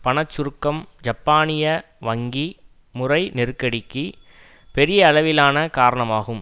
பண சுருக்கம் ஜப்பானிய வங்கி முறை நெருக்கடிக்கு பெரிய அளவிலான காரணமாகும்